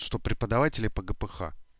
что преподаватели по гпх